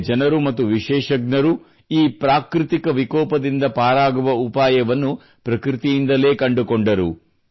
ಇಲ್ಲಿಯ ಜನರು ಮತ್ತು ವಿಶೇಷ ತಜ್ಞರು ಈ ಪ್ರಾಕೃತಿಕ ವಿಕೋಪದಿಂದ ಪಾರಾಗುವ ಉಪಾಯವನ್ನು ಪ್ರಕೃತಿಯಿಂದಲೇ ಕಂಡುಕೊಂಡರು